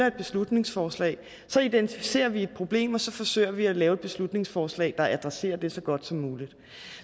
et beslutningsforslag identificerer vi et problem og så forsøger vi at lave et beslutningsforslag der adresserer det så godt som muligt